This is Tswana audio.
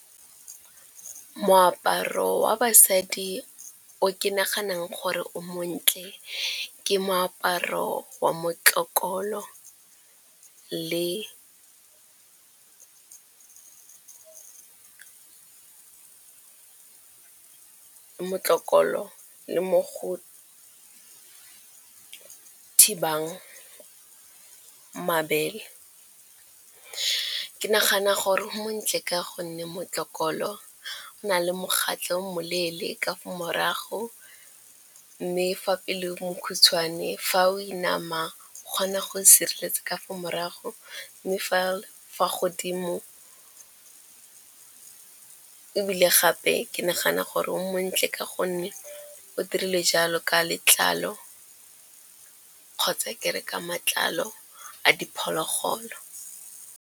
Moaparo wa basadi o ke naganang gore o montle ke moaparo wa motlokolo le mo go thibang mabele. Ke nagana gore montle ka gonne motlokolo na le megatla yo moleele ka morago mme fa pele mekhutshwane fa o e nama o kgona go sireletsa ka fa morago mme fa godimo. Ebile gape ke nagana gore o montle ka gonne o dirile jalo ka letlalo kgotsa ke re ka matlalo a diphologolo.